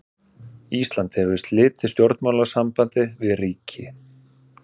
Ísland hefur slitið stjórnmálasambandi við ríki.